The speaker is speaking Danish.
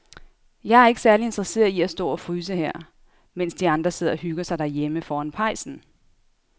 Jeg er ikke særlig interesseret i at stå og fryse her, mens de andre sidder og hygger sig derhjemme foran pejsen.